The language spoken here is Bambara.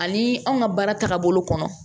Ani anw ka baara tagabolo kɔnɔ